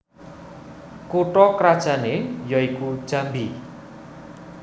Kutha krajanne ya iku Jambi